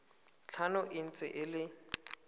tlhano e ntse e le